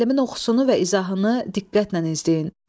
Müəllimin oxusunu və izahını diqqətlə izləyin.